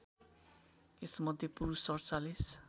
यसमध्ये पुरुष ४७